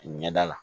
Ɲɛda la